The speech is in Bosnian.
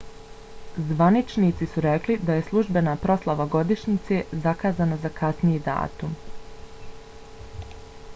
zvaničnici su rekli da je službena proslava godišnjice zakazana je za kasniji datum